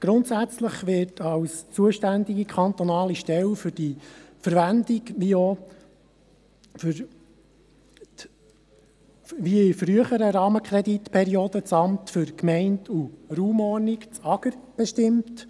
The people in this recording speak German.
Grundsätzlich wird als zuständige kantonale Stelle für die Verwendung wie in früheren Rahmenkreditperioden das Amt für Gemeinden und Raumordnung (AGR) bestimmt.